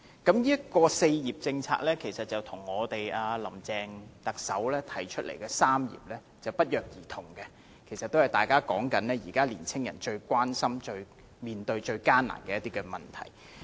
這項"四業"政策與特首林鄭月娥提出的"三業"不約而同，大家都是說現時年青人一些最關心及面對最艱難的問題。